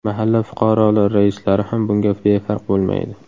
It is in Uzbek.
Mahalla fuqarolar raislari ham bunga befarq bo‘lmaydi.